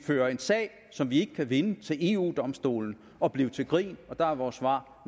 føre en sag som vi ikke kan vinde til eu domstolen og blive til grin og der er vores svar